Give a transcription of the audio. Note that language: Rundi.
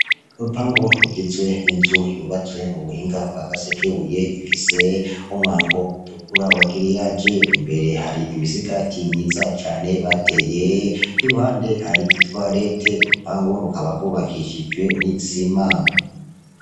Urupangu rugizwe n'inzu yubatswe mu buhinga bwa gasekebuye ifise umwango utukura w'agriyaje, imbere hari imisigati myiza cane bateye, iruhande hari itoilet, urupangu rukaba rwubakishijwe n'icement.